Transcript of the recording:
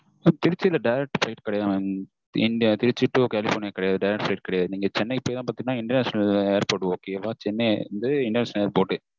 திருச்சில direct flight கிடையாது mam. இங்க திருச்சி to கலிஃபொர்னியா கிடையாது direct flight கிடையாது mam. சென்னை போய் தான் பாத்திங்கண்ணா international airport okay but ஏன்னா சென்னை தான் international airport